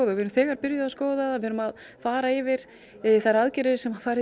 við erum þegar byrjuð að skoða það við erum að fara yfir þær aðgerðir sem farið